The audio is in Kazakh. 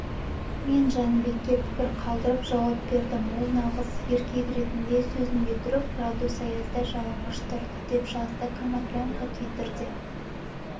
мен жәнібекке пікір қалдырып жауап бердім ол нағыз еркек ретінде сөзінде тұрып градус аязда жалаңаш тұрды деп жазды коноплянка твиттерде